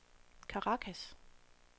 Caracas